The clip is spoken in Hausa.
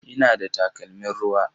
Ina da takalmin ruwa?